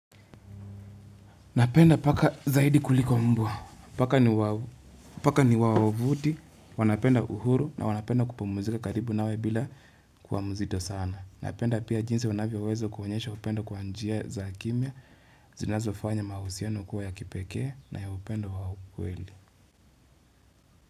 Napenda paka zaidi kuliko mbwa, paka ni wawavuti, wanapenda uhuru na wanapenda kupumuzika karibu nawe bila kuwa mzito sana. Napenda pia jinsi wanavyoweza kuonyesha upendo kwa njia za kimia, zinazofanya mahusiano kuwa ya kipekee na ya upendo wa ukweli.